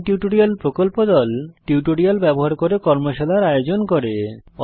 spoken tutorial প্রকল্প দল tutorial ব্যবহার করে কর্মশালার আয়োজন করে